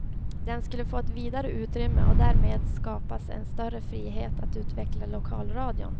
Den skulle få ett vidare utrymme, och därmed skapas en större frihet att utveckla lokalradion.